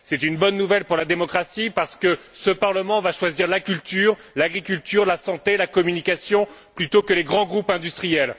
C'est une bonne nouvelle pour la démocratie, parce que ce Parlement va choisir la culture, l'agriculture, la santé, la communication plutôt que les grands groupes industriels.